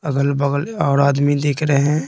अगल-बगल और आदमी देख रहे हैं।